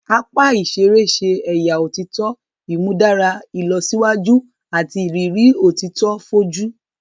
Apá iṣere ṣe ẹya òtítọ imudara ìlọsíwájú àti ìrírí òtítọ foju